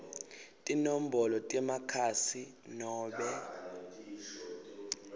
tinombolo temakhasi nobe